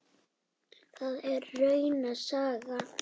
Það er rauna saga.